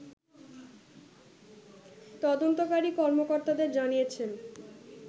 তদন্তকারী কর্মকর্তাদের জানিয়েছেন